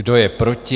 Kdo je proti?